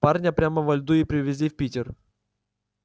парня прямо во льду и привезли в питер